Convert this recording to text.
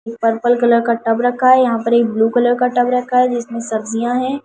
Purple colour का tub रखा है यहां पर एक ब्लू कलर का टब रखा है जिसमें सब्जियां हैं।